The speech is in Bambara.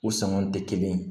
U sɔngɔn tɛ kelen ye